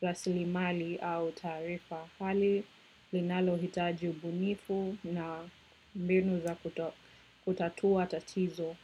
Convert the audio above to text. raslimali au taarifa hali, linalohitaji ubunifu na mbinu za kutatua tatizo.